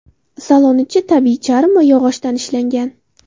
Salon ichi tabiiy charm va yog‘ochdan ishlangan.